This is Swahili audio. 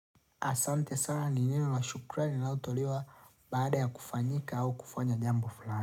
Asante sana nineno la shukrani linalotolewa baada ya kufanyika au kufanya jambo fulani.